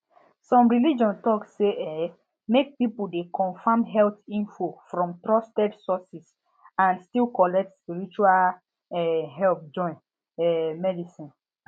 some religion talk say um make people dey confirm health info from trusted source and still collect spiritual um help join um medicine